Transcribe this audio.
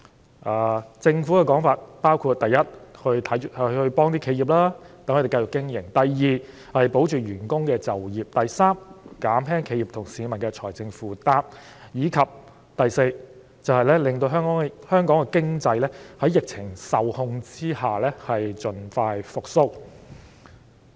根據政府的說法，措施目的包括：第一，協助企業繼續經營；第二，保住員工的就業；第三，減輕企業和市民的財政負擔；以及第四，讓香港的經濟在疫情受控下盡快復蘇。